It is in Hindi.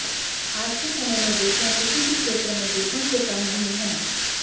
आज के समय में बेटियां किसी भी क्षेत्र में बेटों से कम नहीं हैं